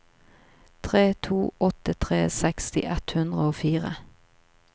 tre to åtte tre seksti ett hundre og fire